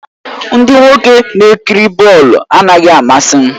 Ndị nwoke na-ekiri bọọlụ anaghị amasị m